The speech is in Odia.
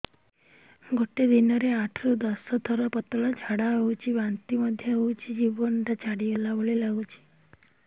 ଗୋଟେ ଦିନରେ ଆଠ ରୁ ଦଶ ଥର ପତଳା ଝାଡା ହେଉଛି ବାନ୍ତି ମଧ୍ୟ ହେଉଛି ଜୀବନ ଛାଡିଗଲା ଭଳି ଲଗୁଛି